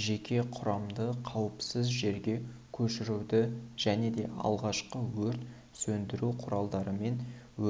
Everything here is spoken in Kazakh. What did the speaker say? жеке құрамды қауіпсіз жерге көшіруді және де алғашқы өрт сөндіру құралдарымен